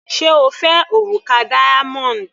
Sé O fẹ́ òrùka diamond?.